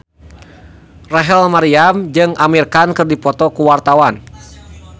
Rachel Maryam jeung Amir Khan keur dipoto ku wartawan